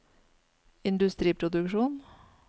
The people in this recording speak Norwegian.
industriproduksjon